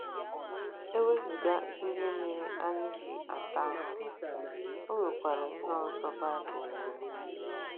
E wezụga ihe mere anyị ji ata ahụhụ, o nwekwara ihe ọzọ Baịbụl kwuru.